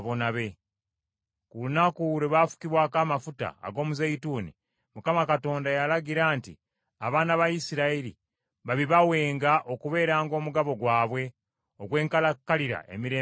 Ku lunaku lwe baafukibwako amafuta ag’omuzeeyituuni, Mukama Katonda yalagira nti abaana ba Isirayiri babibawenga okubeeranga omugabo gwabwe, ogw’enkalakkalira emirembe gyonna.